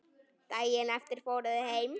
Daginn eftir fóru þau heim.